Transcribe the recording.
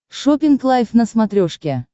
шоппинг лайф на смотрешке